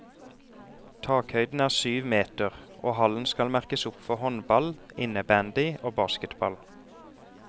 Takhøyden er syv meter, og hallen skal merkes opp for håndball, innebandy og basketball.